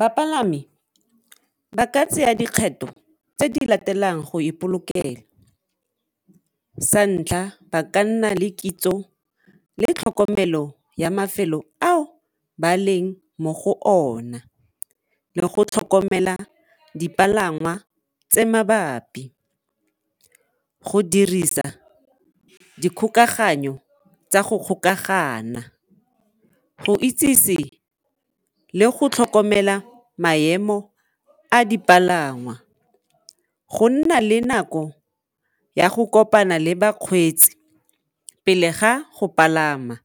Bapalami ba ka tsaya dikgetho tse di latelang go ipolokela, sa ntlha ba ka nna le kitso le tlhokomelo ya mafelo ao ba leng mo go ona le go tlhokomela dipalangwa tse mabapi, go dirisa dikgokagano tsa go kgokagana, go itsese le go tlhokomela maemo a dipalangwa, go nna le nako ya go kopana le bakgweetsi pele ga go palama